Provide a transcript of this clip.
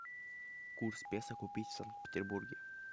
курс песо купить в санкт петербурге